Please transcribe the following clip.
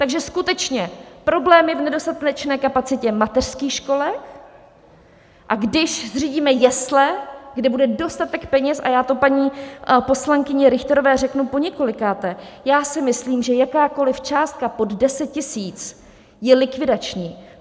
Takže skutečně problém je v nedostatečné kapacitě mateřských školek, a když zřídíme jesle, kde bude dostatek peněz, a já to paní poslankyni Richterové řeknu poněkolikáté: já si myslím, že jakákoliv částka pod 10 000 je likvidační.